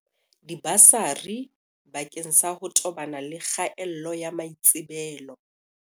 Dibasari bakeng sa ho tobana le kgaello ya maitsebelo